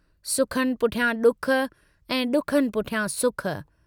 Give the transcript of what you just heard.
सुखनि पुठियां डुख ऐं डुखनि पुठियां सुख।